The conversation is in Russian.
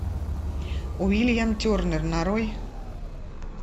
уильям тернер нарой